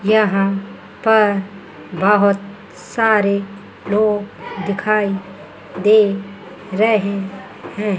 यहां पर बहुत सारे लोग दिखाई दे रहे हैं।